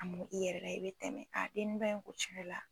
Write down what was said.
A mun i yɛrɛ la i bɛ tɛmɛ k'a dennin dɔ in